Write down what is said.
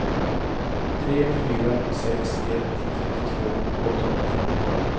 tre fyra sex ett femtiotvå åttahundrafemtiosju